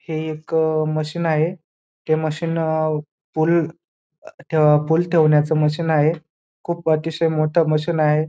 हे एक अ मशीन आहे ते मशीन अ पूल ठेव अ पूल ठेवण्याचं मशीन आहे खूप अतिशय मोठं मशीन आहे.